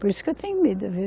Por isso que eu tenho medo, viu?